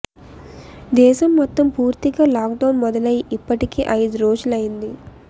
దేశం మొత్తం పూర్తిగా లాక్డౌన్ మొదలయి ఇప్పటికి ఐదు రోజులు అయింది